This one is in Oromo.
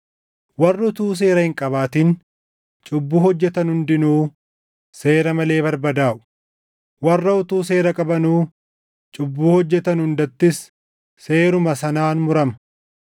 Warri utuu seera hin qabaatin cubbuu hojjetan hundinuu seera malee barbadaaʼu; warra utuu seera qabanuu cubbuu hojjetan hundattis seeruma sanaan murama.